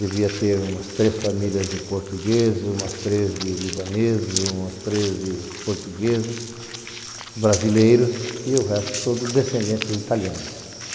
Devia ter umas três famílias de portugueses, umas três de libaneses, umas três de portugueses, brasileiros e o resto todo descendentes italiano.